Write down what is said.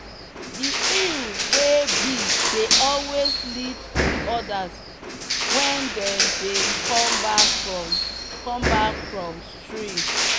the eww wey big dey always lead the others when dem dey come back from come back from stream.